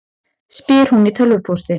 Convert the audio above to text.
spyr hún í tölvupósti.